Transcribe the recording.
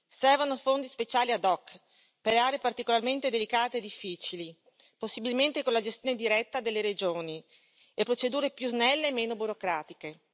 Servono fondi speciali ad hoc per aree particolarmente delicate e difficili, possibilmente con la gestione diretta delle regioni, e procedure più snelle e meno burocratiche.